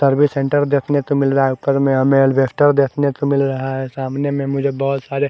service centre देखने को मिल रहा है ऊपर में हमें एल्वेस्टर देखने को मिल रहा है सामने में मुझे बहोत सारे--